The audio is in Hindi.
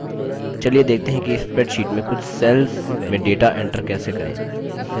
चलिए देखते हैं कि spreadsheet में कुछ cells में data enter कैसे करें